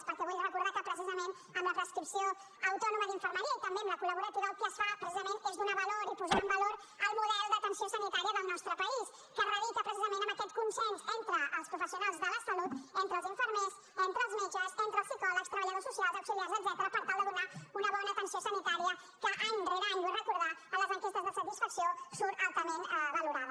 perquè vull recordar que precisament amb la prescripció autònoma d’infermeria i també amb la col·laborativa el que es fa és donar valor i posar en valor el model d’atenció sanitària del nostre país que radica en aquest consens entre els professionals de la salut entre els infermers entre els metges entre els psicòlegs treballadors socials auxiliars etcètera per tal de donar una bona atenció sanitària que any rere any ho vull recordar en les enquestes de satisfacció surt altament valorada